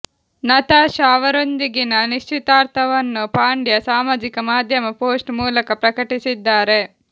Natasha ಅವರೊಂದಿಗಿನ ನಿಶ್ಚಿತಾರ್ಥವನ್ನು ಪಾಂಡ್ಯ ಸಾಮಾಜಿಕ ಮಾಧ್ಯಮ ಪೋಸ್ಟ್ ಮೂಲಕ ಪ್ರಕಟಿಸಿದ್ದಾರೆ